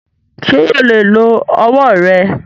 Ṣé yóò lè lo ọwọ rẹ?